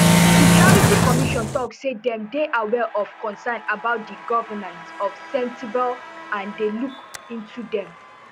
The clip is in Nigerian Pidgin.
di charity commission tok say dem dey aware of concerns about di governance of sentebale and dey look into dem